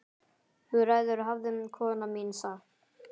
Þú ræður hafði kona mín sagt.